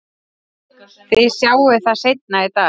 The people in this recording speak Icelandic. Þið sjáið það seinna í dag.